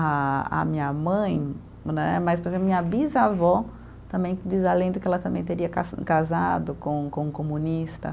A a minha mãe né, mas, por exemplo, minha bisavó também diz a lenda que ela também teria cas casado com com um comunista.